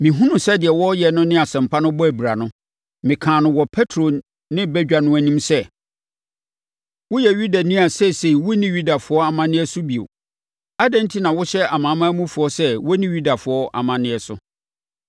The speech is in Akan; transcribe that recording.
Mehunuu sɛ deɛ wɔreyɛ no ne Asɛmpa no bɔ abira no, mekaa no wɔ Petro ne badwa no anim sɛ, “Woyɛ Yudani a seesei wonni Yudafoɔ amanneɛ so bio. Adɛn enti na wohyɛ amanamanmufoɔ sɛ wɔnni Yudafoɔ amanneɛ so?